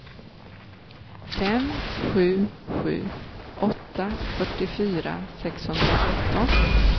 fem sju sju åtta fyrtiofyra sexhundratretton